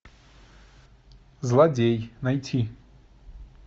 злодей найти